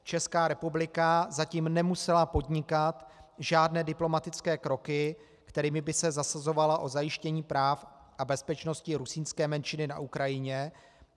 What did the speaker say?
Česká republika zatím nemusela podnikat žádné diplomatické kroky, kterými by se zasazovala o zajištění práv a bezpečnosti rusínské menšiny na Ukrajině.